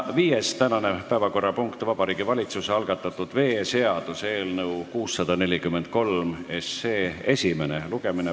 Viies tänane päevakorrapunkt: Vabariigi Valitsuse algatatud veeseaduse eelnõu 643 esimene lugemine.